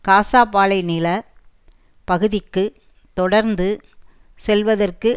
காசா பாலை நில பகுதிக்கு தொடர்ந்து செல்வதற்கு